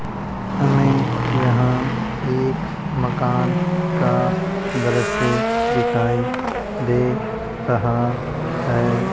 हमें यहां एक मकान का दृश्य दिखाई दे रहा है।